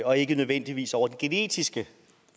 og ikke nødvendigvis over det genetiske